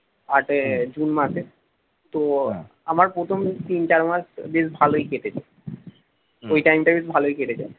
আট এর জুন মাসে তো আমার প্রথম তিন চার মাস বেশ ভালোই কেটেছে ওই time টা বেশ ভালই কেটেছে